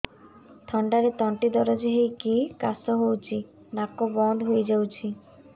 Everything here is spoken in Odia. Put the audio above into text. ଥଣ୍ଡାରେ ତଣ୍ଟି ଦରଜ ହେଇକି କାଶ ହଉଚି ନାକ ବନ୍ଦ ହୋଇଯାଉଛି